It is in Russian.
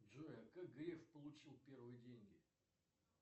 джой а как греф получил первые деньги